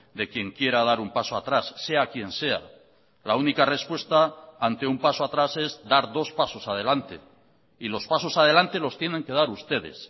de quien quiera dar un paso atrás sea quien sea la única respuesta ante un paso atrás es dar dos pasos adelante y los pasos adelante los tienen que dar ustedes